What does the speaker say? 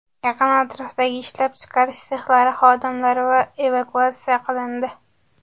Yaqin atrofdagi ishlab chiqarish sexlari xodimlari evakuatsiya qilindi.